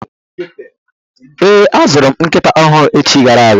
Ee, azụrụ m nkịta ọhụrụ echi gara aga.